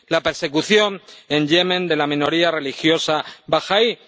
la persecución en Yemen de la minoría religiosa bahaí